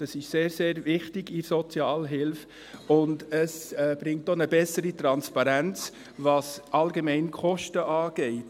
Das ist sehr, sehr wichtig in der Sozialhilfe, und es bringt auch eine bessere Transparenz bezüglich der Kosten allgemein.